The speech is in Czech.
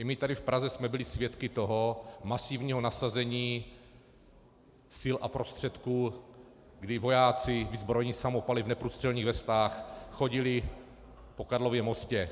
I my tady v Praze jsme byli svědky toho masivního nasazení sil a prostředků, kdy vojáci vyzbrojení samopaly v neprůstřelných vestách chodili po Karlově mostě.